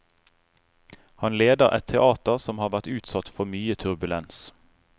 Han leder et teater som har vært utsatt for mye turbulens.